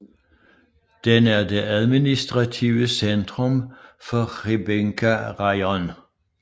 Den er det administrative centrum for Hrebinka Raion